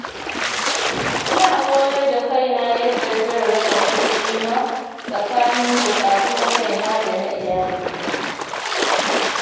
Ina koyar da kaina yadda zan raba kuɗina tsakanin buƙatun kaina da na iyalina.